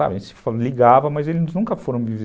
ligavam, mas eles nunca foram me vi